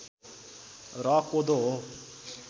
र कोदो हो